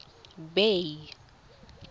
bay